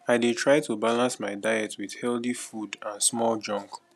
i dey try to balance my diet with healthy food and small junk